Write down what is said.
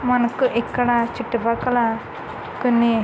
మనకు ఇక్కడ చుట్టు పక్కల కొన్ని --